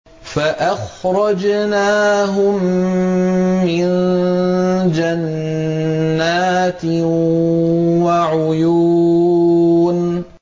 فَأَخْرَجْنَاهُم مِّن جَنَّاتٍ وَعُيُونٍ